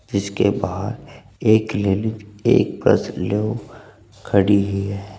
इसके बाहर एक लेडी एक पर्स लिए खड़ी ही है।